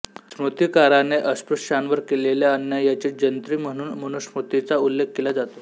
स्मृतिकाराने अस्पृश्यांवर केलेल्या अन्यायाची जंत्री म्हणून मनुस्मृतीचा उल्लेख केला जातो